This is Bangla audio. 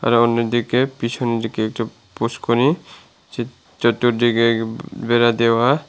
আরো অন্যদিকে পিছনদিকে একটা পুষ্করীনী চা চতুরদিকে বেড়া দেওয়া।